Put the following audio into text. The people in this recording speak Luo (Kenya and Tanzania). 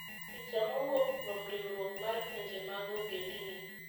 Picha mowuok kuom riwruok mar pinje mag ogendini.